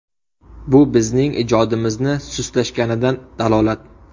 Bu bizning ijodimizni sustlashganidan dalolat.